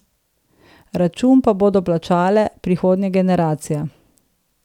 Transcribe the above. Račun pa bodo plačale prihodnje generacije.